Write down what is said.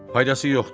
Faydası yoxdur.